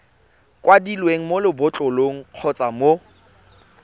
kwadilweng mo lebotlolong kgotsa mo